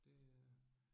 Det øh